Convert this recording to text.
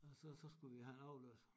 Og så så skulle vi have en afløser